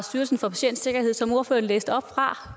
styrelsen for patientsikkerhed som ordføreren læste op fra